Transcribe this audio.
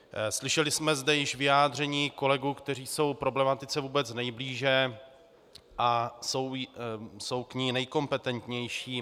Slyšeli jsme zde již vyjádření kolegů, kteří jsou problematice vůbec nejblíže a jsou k ní nejkompetentnější.